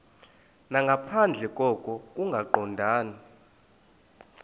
nangaphandle koko kungaqondani